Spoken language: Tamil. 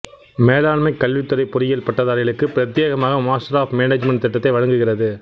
மேலாண்மை கல்வித் துறை பொறியியல் பட்டதாரிகளுக்காகப் பிரத்தியேகமாக மாஸ்டர் ஆஃப் மேனேஜ்மென்ட் திட்டத்தை வழங்குகிறது